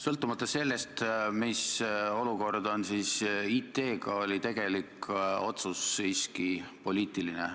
Sõltumata sellest, mis olukord on IT-ga, oli tegelik otsus siiski poliitiline.